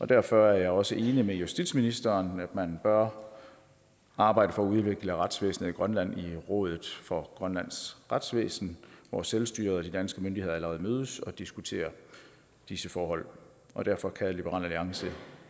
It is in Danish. derfor er jeg også enig med justitsministeren i at man bør arbejde for at udvikle retsvæsenet i grønland i rådet for grønlands retsvæsen hvor selvstyret og de danske myndigheder allerede mødes og diskuterer disse forhold og derfor kan liberal alliance